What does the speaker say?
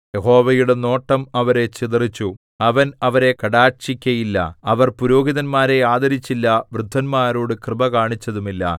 യഹോവയുടെ നോട്ടം അവരെ ചിതറിച്ചു അവൻ അവരെ കടാക്ഷിക്കയില്ല അവർ പുരോഹിതന്മാരെ ആദരിച്ചില്ല വൃദ്ധന്മാരോട് കൃപ കാണിച്ചതുമില്ല